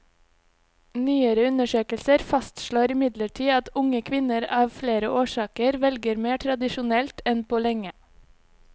Nyere undersøkelser fastslår imidlertid at unge kvinner av flere årsaker velger mer tradisjonelt enn på lenge.